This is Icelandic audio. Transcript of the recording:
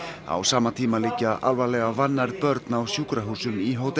á sama tíma liggja alvarlega vannærð börn á sjúkrahúsum í